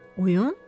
Oyun?